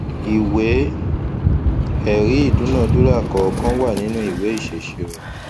ìwé ẹrí ìdúnadúrà kọọkan wà nínú ìwé ìṣèṣirò